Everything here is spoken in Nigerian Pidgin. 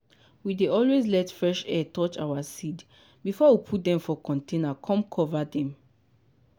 we dey always let fresh air touch our seed before we put dem for container com cover dem.